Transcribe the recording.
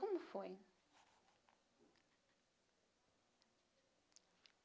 Como foi?